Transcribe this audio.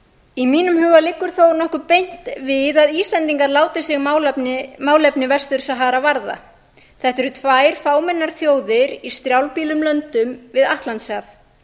í mínum huga liggur þó nokkuð beint við að íslendingar láti sig málefni vestur sahara varða þetta eru tvær fámennar þjóðir í strjálbýlum löndum við atlantshaf